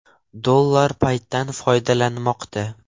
Dollar paytdan foydalanmoqda.